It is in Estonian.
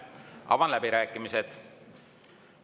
Avan läbirääkimised.